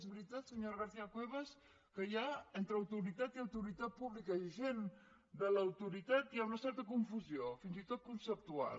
és veritat senyora garcía cuevas que hi ha entre autoritat pública i agent de l’autoritat hi ha una certa confusió fins i tot conceptual